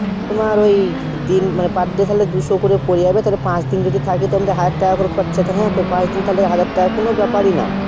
তোমার ঐ দিন মানে per day তাইলে দুশো করে পরে যাবে পাচ দিন যদি থাকি পাচ দিন কোনো ব্যাপারি না